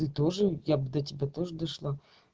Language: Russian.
и тоже я бы до тебя тоже дошла